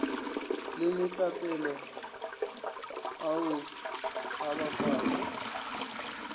le metlapelo ao a bakwago